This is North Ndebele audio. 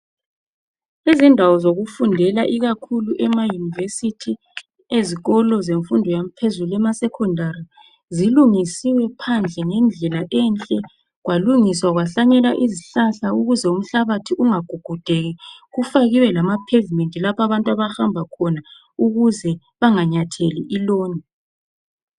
Izindawo zokufundela, ikakhulu emaUniversity ezikolo zemfundo yaphezulu, emaSecondary zilungisiwe phandle ngendlela enhle. Kwalungiswa kwahlanyelwa izihlahla ukuze umhlabathi ungagugudeki, kufakiwe lama pavement lapho abantu abahamba khona ukuze abantu banganyatheli iloni.